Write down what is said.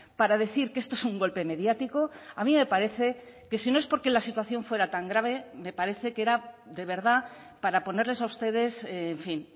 para decir que esto es un golpe mediático a mí me parece que si no es porque la situación fuera tan grave me parece que era de verdad para ponerles a ustedes en fin